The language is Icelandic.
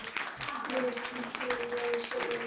Milljón sinnum.